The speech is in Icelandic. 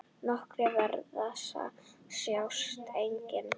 Nokkrir verðir sjást einnig.